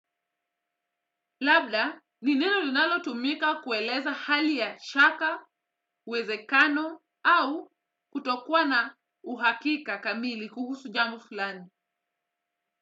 Labda, ni neno linalo tumika kueleza hali ya shaka, uwezekano, au kutokuwa na uhakika kamili kuhusu jambo fulani.